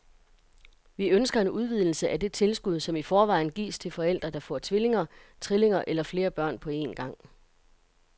Vi ønsker en udvidelse af det tilskud, som i forvejen gives til forældre, der får tvillinger, trillinger eller flere børn på en gang.